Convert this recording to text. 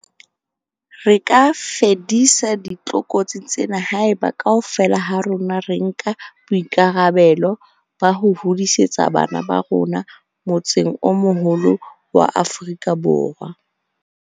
Re ka fedisa ditlokotsi tsena haeba, kaofela ha rona re nka boikarabelo ba ho hodisetsa bana ba rona motseng o moholo wa Aforika Borwa.